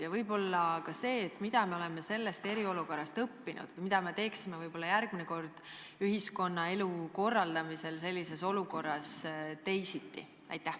Ja võib-olla ka see, mida me oleme eriolukorrast õppinud ja mida me teeksime järgmine kord ühiskonnaelu korraldamisel sellises olukorras teisiti.